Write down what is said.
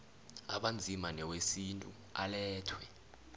abanzima newesintu alethwe